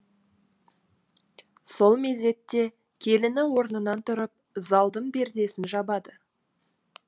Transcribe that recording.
сол мезетте келіні орнынан тұрып залдың пердесін жабады